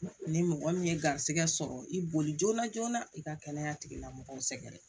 Ni mɔgɔ min ye garisɛgɛ sɔrɔ i boli joona joona i ka kɛnɛya tigilamɔgɔw sɛgɛrɛ